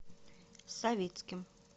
савицким